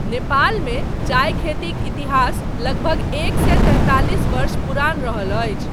नेपालमे चायखेतीक इतिहास लगभग एक सए तैंतालिस वर्ष पुरान रहल अछि।